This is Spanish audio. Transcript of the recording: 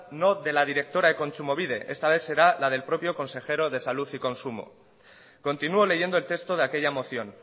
no de la directora de kontsumobide esta vez será la del propio consejero de salud y consumo continuo leyendo el texto de aquella moción